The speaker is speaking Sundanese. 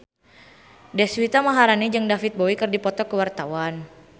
Deswita Maharani jeung David Bowie keur dipoto ku wartawan